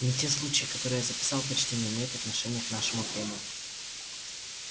не те случаи которые я записал почти не умеют отношения к нашему времени